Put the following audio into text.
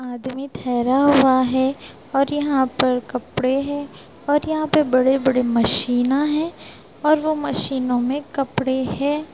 आदमी ठहरा हुआ है और यहाँ पर कपड़े है और यहाँ पर बड़े-बड़े मशीना है और वो मशीनों में कपड़े है।